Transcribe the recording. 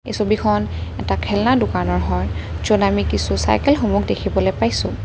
এই ছবিখন এটা খেলনাৰ দোকানৰ হয় য'ত আমি কিছু চাইকেলসমূহ দেখিবলৈ পাইছোঁ।